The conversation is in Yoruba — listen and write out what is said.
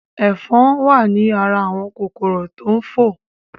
Ẹ̀fọn wa ní ara àwọn kòkòrò tó ń fò